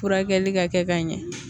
Furakɛli ka kɛ ka ɲɛ